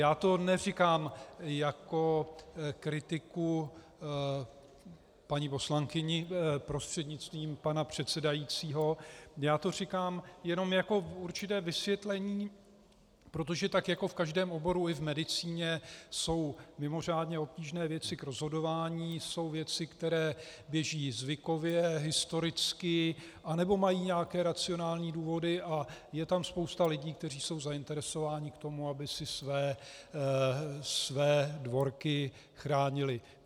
Já to neříkám jako kritiku paní poslankyně prostřednictvím pana předsedajícího, já to říkám jenom jako určité vysvětlení, protože tak jako v každém oboru, i v medicíně jsou mimořádně obtížné věci k rozhodování, jsou věci, které běží zvykově, historicky, anebo mají nějaké racionální důvody, a je tam spousta lidí, kteří jsou zainteresováni k tomu, aby si své dvorky chránili.